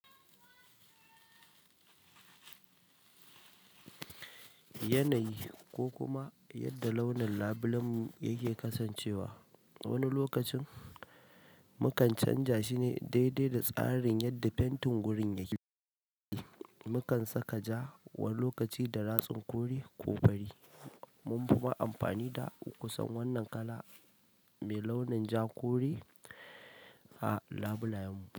Yanayi ko kuma yadda launin labulenmu yake kasancewa, wani lokacin mukan canja shi ne daidai da tsarin yadda fentin gurin yake. Mukan saka ja wani lokaci da ratsin kore ko fari. Mun fi ma amfani da kusan wannan kala me launin ja kore a labulayen mu.